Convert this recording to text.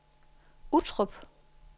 Uttrup